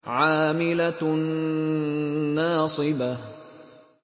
عَامِلَةٌ نَّاصِبَةٌ